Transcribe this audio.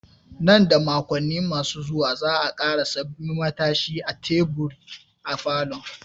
Nan da makonni masu zuwa, za'a ƙara sabbin matashin da teburi a falon.